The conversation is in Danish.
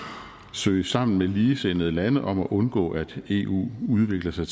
søge sammen med ligesindede lande om at undgå at eu udvikler sig